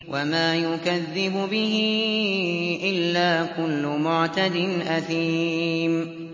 وَمَا يُكَذِّبُ بِهِ إِلَّا كُلُّ مُعْتَدٍ أَثِيمٍ